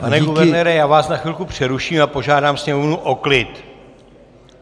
Pane guvernére, já vás na chvilku přeruším a požádám sněmovnu o klid.